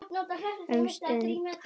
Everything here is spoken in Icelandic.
Um stund.